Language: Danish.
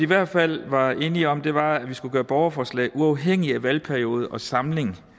hvert fald var enige om var at vi skulle gøre borgerforslag uafhængige af valgperiode og samling